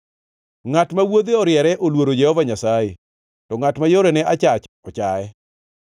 Ngʼat ma wuodhe oriere oluoro Jehova Nyasaye, to ngʼat ma yorene achach ochaye.